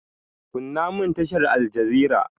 Kunna mun tashar aljazira!